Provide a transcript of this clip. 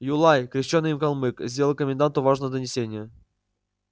юлай крещёный калмык сделал коменданту важное донесение